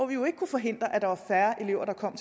vi jo ikke kunne forhindre at der var færre elever der kom